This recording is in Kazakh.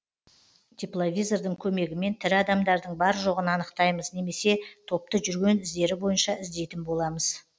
тепловизордың көмегімен тірі адамдардың бар жоғын анықтаймыз немесе топты жүрген іздері бойынша іздейтін боламыз